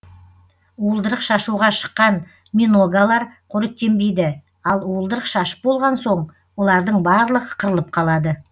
уылдырық шашуға шыққан миногалар қоректенбейді ал уылдырық шашып болған соң олардың барлығы қырылып қалады